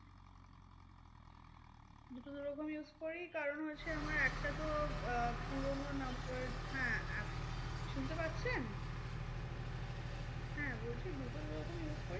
দুটো দুরকম use করি কারণ হয়েছে আমার একটা তো আহ পুরোনো number হ্যাঁ শুনতে পাচ্ছেন? হ্যাঁ বলছি দুটো দুরকম use করি